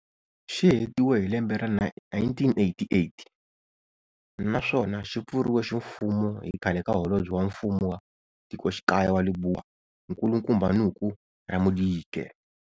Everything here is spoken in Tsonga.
Xi hetiwe hi lembe ra 1988 naswona xi pfuriwe ximfumo hi khale ka holobye wa mfumo wa tikoxikaya wa Lebowa, nkulukumba Noko Ramodike.